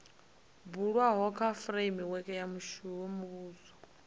bulwaho kha fureimiweke ya muvhuso